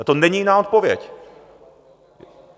Na to není jiná odpověď.